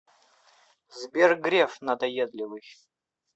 сбер греф надоедливый